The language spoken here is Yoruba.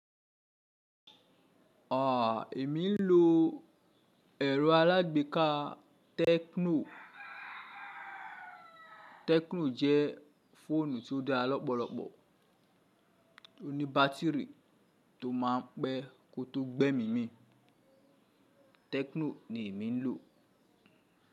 À, èmi ń lo ẹ̀rọ alágbèéká tecno. Tecno jẹ́ fóònù tí ó dára lọ́pọ̀lọpọ̀, tó ní bátírì tó máa ń pẹ́ kó tó gbẹ́mí mì. Techno ni èmi ń lò.